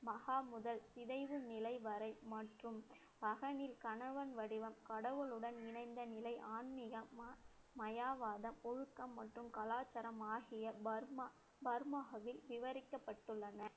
மகா முதல் சிதைவு நிலை வரை மற்றும் பகனில் கணவன் வடிவம் கடவுளுடன் இணைந்த நிலை மயவாதம், ஒழுக்கம் மற்றும் கலாச்சாரம் ஆகிய பர்மா~ பர்மாவில் விவரிக்கப்பட்டுள்ளன